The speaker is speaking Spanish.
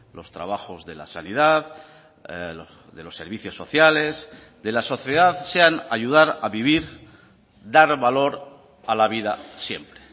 los trabajos de la sanidad de los servicios sociales de la sociedad sean ayudar a vivir dar valor a la vida siempre